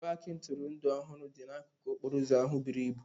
paaki ntụrụndụ ọhụrụ dị n'akụkụ okporo ụzọ ahụ buru ibu.